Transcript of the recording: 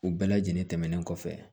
U bɛɛ lajɛlen tɛmɛnen kɔfɛ